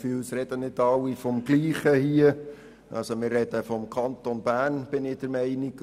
Ich bin der Meinung, dass wir vom Kanton Bern sprechen.